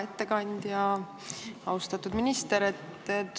Hea ettekandja, austatud minister!